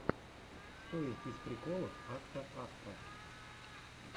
что есть из приколов акта акта